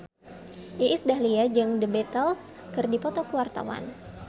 Iis Dahlia jeung The Beatles keur dipoto ku wartawan